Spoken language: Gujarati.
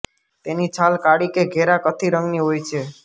તેની છાલ કાળી કે ઘેરા કથિ રંગની હોય છે